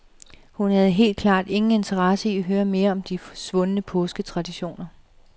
Hun havde helt klart ingen interesse i at høre mere om svundne påsketraditioner.